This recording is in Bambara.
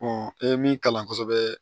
i ye min kalan kosɛbɛ